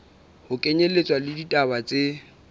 ho kenyelletswa le ditaba tse